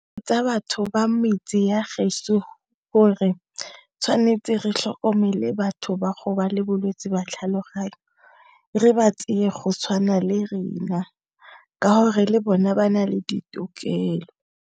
Tsa batho ba metse ya geso hore tshwanetse re tlhokomele batho ba go le bolwetsi jwa tlhaloganyo re ba tseye go tshwana le rena ka hore le bona ba na le ditokelo.